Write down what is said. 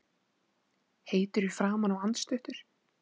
Heitur í framan og andstuttur.